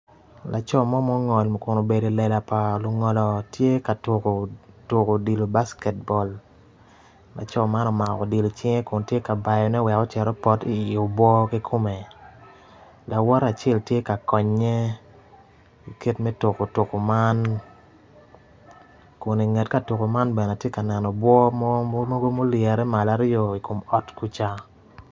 Laco mo ma ongolo obedo i wi lela pa lungolo tye ka tuko odilo basket ball laco man omako odilo icinge kun mito bayone wek opot i obwo kikome lawote acel tye ka konye i kit me tuko tuko man kun i nget ka tuko man atye ka neno obwo mogo aryo ma olyere i kor ot kuca.